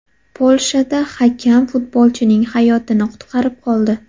Polshada hakam futbolchining hayotini qutqarib qoldi .